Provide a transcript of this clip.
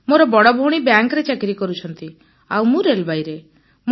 ମୋର ବଡ଼ ଭଉଣୀ ବ୍ୟାଙ୍କରେ ଚାକିରୀ କରୁଛନ୍ତି ଆଉ ମୁଁ ରେଳବାଇରେ